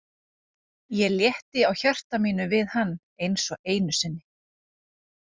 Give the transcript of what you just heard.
Ég létti á hjarta mínu við hann einsog einu sinni.